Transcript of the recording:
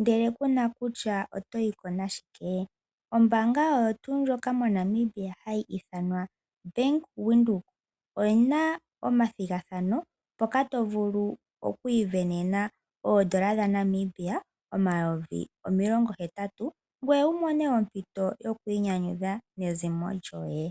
ndele kuna kutya otoyi ko nashike ombaanga oyo tuu ndjoka moNamibia hayi ithanwa bank Windhoek oyina omathigathano mpoka to vulu okwaii sindanena oodola dhaNamibia omayovi omilongo hetatu ngweye wu mone ompito yokwiinynyudha nezimo lyoye.